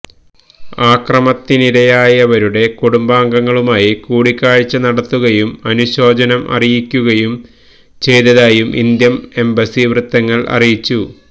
അക്രമത്തിനിരയായവരുടെ കുടുംബാഗങ്ങളുമായി കൂടിക്കാഴ്ച നടത്തുകയും അനുശോചനം അറിയിക്കുകയും ചെയ്തതായും ഇന്ത്യൻ എംബസി വൃത്തങ്ങൾ അറിയിച്ചു